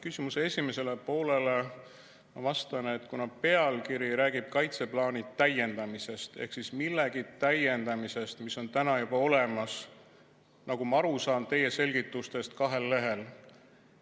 Küsimuse esimesele poolele vastan, et pealkiri räägib kaitseplaani täiendamisest ehk siis millegi täiendamisest, mis on täna juba olemas, nagu ma aru saan teie selgitustest kahel lehel.